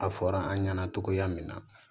A fɔra an ɲɛna togoya min na